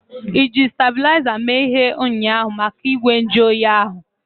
Iji stebulaiza were mee ihe ụnyaahụ maka igwe nju oyi ahu?